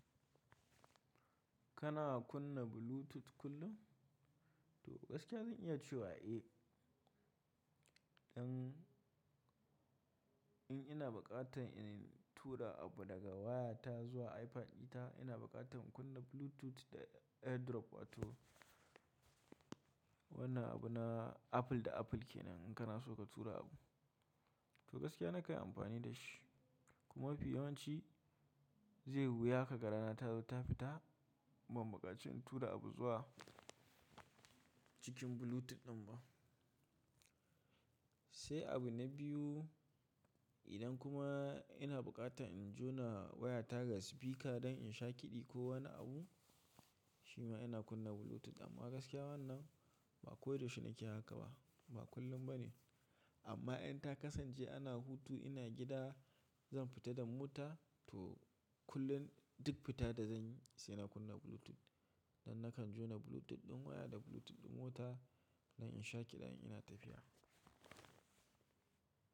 Kana kunna Bluetooth kullum? To gaskiya zan iya cewa eh. In ina buƙatan in tura abu daga wayata zuwa iPad dita, ina buƙatan in kunna Bluetooth da AirDrop wato wannan abu na Apple da Apple kenan in kana so ka tura abu. To gaskiya nakan yi amfani da shi. Kuma mafi yawanci zai yi wuya ka ga rana ta zo ta fita ban buƙaci in tura abu zuwa cikin Bluetooth ɗin ba. Sai abu na biyu, idan kuma ina buƙata in jona wayata ga speaker don in sha kiɗi ko wani abu, shima ina kunna Bluetooth. Amma gaskiya wannan ba koyaushe nake haka ba, ba kullum ba ne. Amma in ta kasance ana hutu ina gida, zan fita da mota to kullum duk fita da zan yi sai na kunna Bluetooth. Don nakan jona Bluetooth ɗin waya da Bluetooth ɗin mota don in sha kiɗa in ina tafiya.